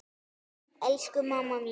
Elsku mamma mín.